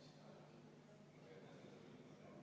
V a h e a e g